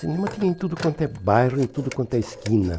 Cinema tinha em tudo quanto é bairro, em tudo quanto é esquina.